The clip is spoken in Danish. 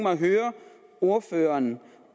at høre ordføreren